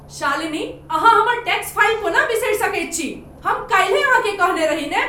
शालिनी, अहाँ हमर tax file कोना बिसरि सकैत छी? हम काल्हिए अहाँकेँ कहने रही ने।